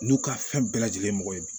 N'u ka fɛn bɛɛ lajɛlen mɔgɔ ye bi